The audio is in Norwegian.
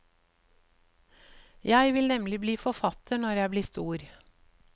Jeg vil nemlig bli forfatter når jeg blir stor.